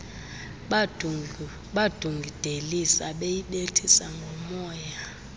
badungidelisa beyibethisa ngomoya